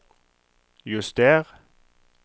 juster